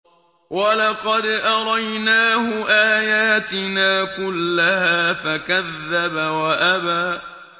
وَلَقَدْ أَرَيْنَاهُ آيَاتِنَا كُلَّهَا فَكَذَّبَ وَأَبَىٰ